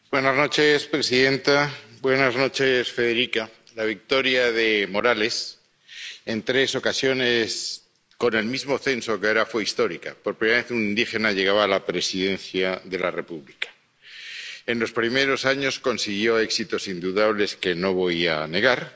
Señora presidenta, alta representante, la victoria de Morales —en tres ocasiones con el mismo censo que ahora— fue histórica por primera vez, un indígena llegaba a la presidencia de la República. En los primeros años, consiguió éxitos indudables que no voy a negar